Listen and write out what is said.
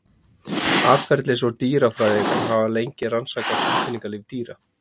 Atferlis- og dýrafræðingar hafa lengi rannsakað tilfinningalíf dýra.